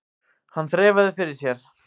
Hann þreifaði fyrir sér.